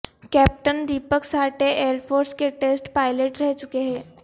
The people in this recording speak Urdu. captain Deepak Sathe air force کے ٹسٹ پائلٹ رہ چکے تھے